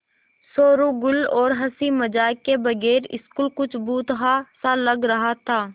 शोरोगुल और हँसी मज़ाक के बगैर स्कूल कुछ भुतहा सा लग रहा था